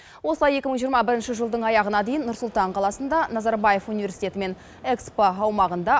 осылай екі мың жиырма бірінші жылдың аяғына дейін нұр сұлтан қаласында назарбаев университеті мен экспо аумағында